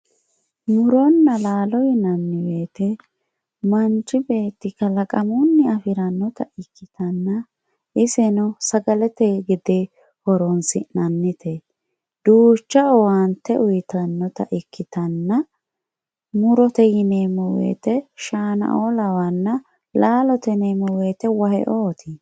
Muronna lalo yinanni woyite manchi beti kalaqamunni afiranotta ikitanna iseno sagalete gedde horosinanite ducha owante uyitanota ikitana murote yinemo woyite shana"o lawanna lalote yinemo woyite wahheotti